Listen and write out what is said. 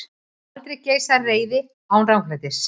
Aldrei geisar reiði án ranglætis.